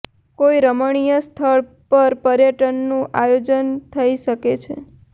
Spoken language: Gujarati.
કોઈ રમણીય સ્થળ પર પર્યટનનું આયોજન થઈ શકે છે